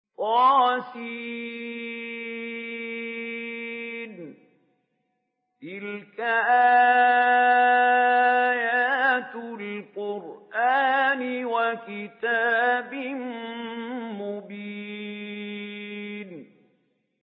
طس ۚ تِلْكَ آيَاتُ الْقُرْآنِ وَكِتَابٍ مُّبِينٍ